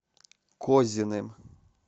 козиным